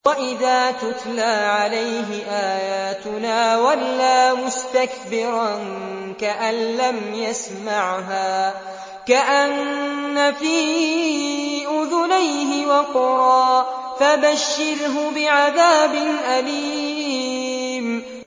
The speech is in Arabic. وَإِذَا تُتْلَىٰ عَلَيْهِ آيَاتُنَا وَلَّىٰ مُسْتَكْبِرًا كَأَن لَّمْ يَسْمَعْهَا كَأَنَّ فِي أُذُنَيْهِ وَقْرًا ۖ فَبَشِّرْهُ بِعَذَابٍ أَلِيمٍ